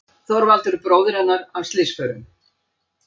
Þorvaldur bróðir hennar af slysförum.